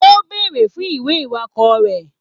O béèrè fún ìwé iwakọ rẹ.